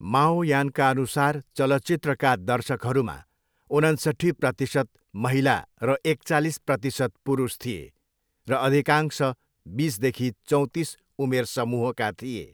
माओयानका अनुसार, चलचित्रका दर्शकहरूमा उनन्सट्ठी प्रतिसत महिला र एकचालिस प्रतिसत पुरुष थिए, र अधिकांश बिसदेखि चौतिस उमेर समूहका थिए।